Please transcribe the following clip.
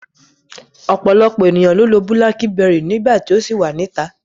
Ọ̀pọ̀lọpọ̀ ènìyàn ló lo Búlákíbẹrì nígbà tí ó ṣì wà níta.